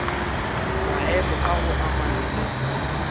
maemo a go amana le